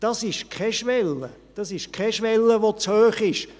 Das ist keine Schwelle, die zu hoch ist.